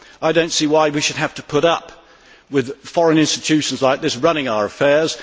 I do not see why we should have to put up with foreign institutions like this running our affairs.